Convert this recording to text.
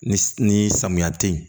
Ni ni samiya te yen